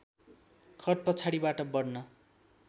खट पछाडिबाट बढ्न